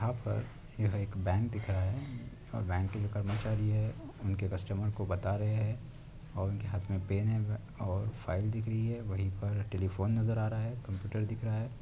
यहाँ पर यह एक बैंक दिख रहा है और बैंक के जो कर्मचारी है उनके कस्टमर को बता रहे है और उनके हाथ मे पेन है और फ़ाइल दिख रही है वही पर टेलिफोन नजर आ रहा है कम्प्यूटर दिख रहा है।